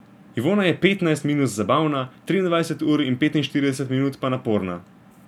Ivona je petnajst minut zabavna, triindvajset ur in petinštirideset minut pa naporna.